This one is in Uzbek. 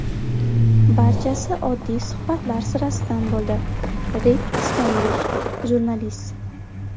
Barchasi oddiy suhbatlar sirasidan bo‘ldi”, Rid Stendish, jurnalist.